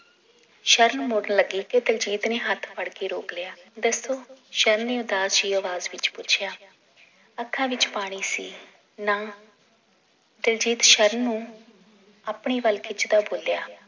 ਸ਼ਰਨ ਮੁੜਨ ਲੱਗੀ ਤੇ ਦਿਲਜੀਤ ਨੇ ਹੱਥ ਫੜ ਕੇ ਰੋਕ ਲਿਆ ਦੱਸੋ ਸ਼ਰਨ ਨੇ ਉਦਾਸ ਜੀ ਆਵਾਜ਼ ਵਿਚ ਪੁੱਛਿਆ ਅੱਖਾਂ ਵਿਚ ਪਾਣੀ ਸੀ ਨਾ ਦਿਲਜੀਤ ਸ਼ਰਨ ਨੂੰ ਆਪਣੇ ਵੱਲ ਖਿੱਚਦਾ ਬੋਲਿਆ